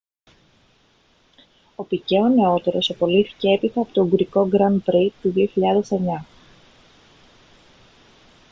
ο πικέ ο νεότερος απολύθηκε έπειτα από το ουγγρικό grand prix του 2009